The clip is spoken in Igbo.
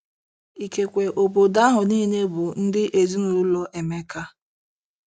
Ikekwe obodo ahụ niile bụ ndị ezinaụlọ Emeka.